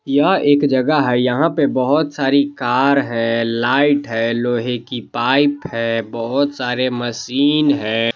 यह एक जगह है यहां पे बहुत सारी कार है लाइट है लोहे की पाइप है बहुत सारे मसीन हैं।